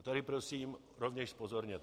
A tady prosím rovněž zpozorněte.